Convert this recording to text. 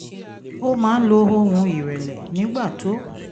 ó máa ń lo ohùn ìrẹ̀lẹ̀ nígbà tó